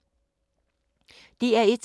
DR1